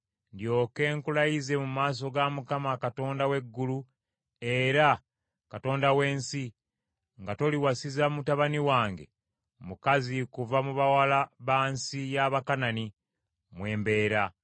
ndyoke nkulayize mu maaso ga Mukama Katonda w’eggulu era Katonda w’ensi, nga toliwasiza mutabani wange mukazi kuva mu bawala ba nsi ya Bakanani, mwe mbeera,